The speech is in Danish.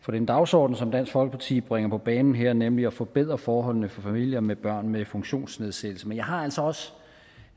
for den dagsorden som dansk folkeparti bringer på banen her nemlig at forbedre forholdene for familier med børn med funktionsnedsættelse men jeg har altså også